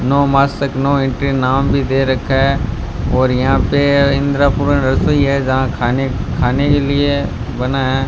No मास्टक no entry नाम भी दे रखा है और यहां पे इंद्रपूरण रसोई है जहां खाने खाने के लिए बना है।